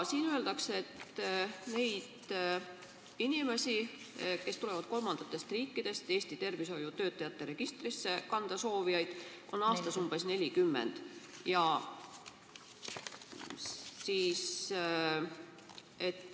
Siin öeldakse, et inimesi, kes tulevad kolmandatest riikidest ja soovivad enda kandmist Eesti tervishoiutöötajate registrisse, on aastas umbes 40.